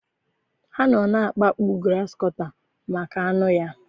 Ha nọ na-akpagbu grasịkọta maka anụ ya.